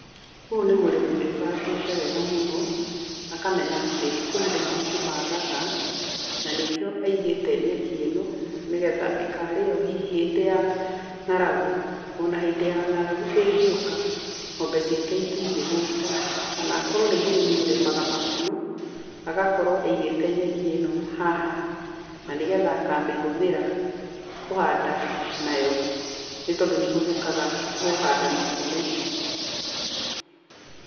Ũyũ nĩ mũrĩmi wĩbangĩte wega mũno, akamenya atĩ kwĩ hĩndĩ mahuti magaga, na nĩkĩo aigĩte nyeki ĩno nĩ getha ĩkarĩo hihi hĩndĩ ya ng'aragu ona hĩndĩ ya ng'aragu ĩngĩũka, ng'ombe ciake itingĩhũta. Kana akorwo nĩ mũrĩmi ũrĩmaga makunũ agakorwo aigĩte nyeki ĩno haha na nĩ getha akamĩhũthĩra kũhanda nayo nĩ tondũ nĩ ĩhũthĩkaga kũhanda makunũ.